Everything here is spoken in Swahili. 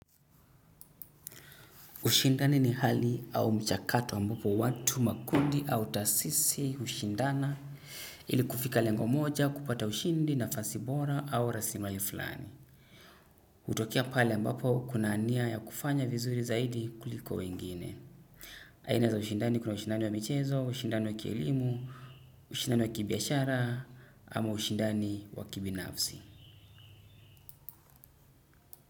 Ushindani ni hali au mchakato ambapo watu makundi au tasisi ushindana ili kufika lengo moja kupata ushindi na fasi bora au rasimali fulani. Utokea pale ambapo kuna nia ya kufanya vizuri zaidi kuliko wengine. Aina za ushindani kuna ushindani wa michezo, ushindani wa kielimu, ushindani wa kibiashara ama ushindani wa kibi nafsi.